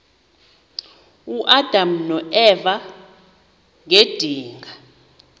uadam noeva ngedinga